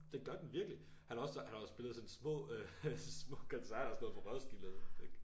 Det gør den virkelig! Han har også han har jo spillet sådan små øh små koncerter og sådan noget på Roskilde og sådan ikke